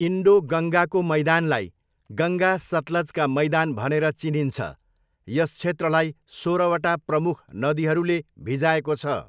Indo गङ्गाको मैदानलाई 'गङ्गा सतलज का मैदान' भनेर चिनिन्छ, यस क्षेत्रलाई सोह्रवटा प्रमुख नदीहरूले भिजाएको छ।